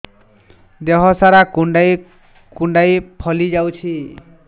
ଦେହ ସାରା କୁଣ୍ଡାଇ କୁଣ୍ଡାଇ ଫଳି ଯାଉଛି